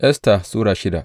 Esta Sura shida